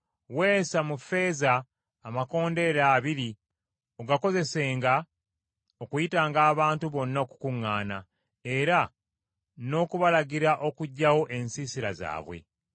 “Weesa mu ffeeza amakondeere abiri ogakozesenga okuyitanga abantu bonna okukuŋŋaana, era n’okubalagira okuggyawo ensiisira zaabwe.